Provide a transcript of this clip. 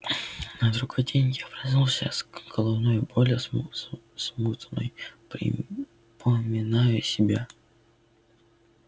на другой день я проснулся с головною болью смутно припоминая себе вчерашние происшествия